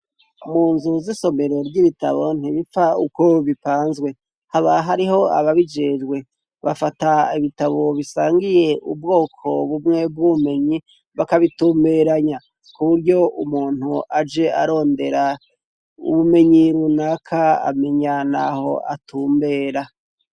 Mu nzu zisomero ry'ibitabo ntibipfa uko bipanzwe, haba hariho ababijejwe, bafata ibitabo bisangiye ubwoko bumwe bw'ubumenyi bakabitumberanya ku buryo umuntu aje arondera ubumenyi runaka amenya naho atumbera.